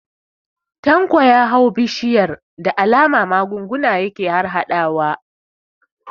Tanko ya hau bishiyar, da alama magunguna yake harhaɗawa.